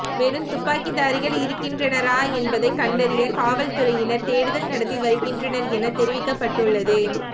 மேலும் துப்பாக்கிதாரிகள் இருக்கின்றனரா என்பதை கண்டறிய காவல்துறையினர் தேடுதல் நடத்தி வருகின்றனர் என தெரிவிக்கப்பட்டுள்ளது